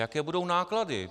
Jaké budou náklady?